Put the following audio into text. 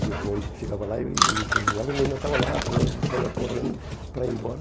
E o bonde chegava lá e e buzinava, ele ainda estava lá, saía correndo para ir embora.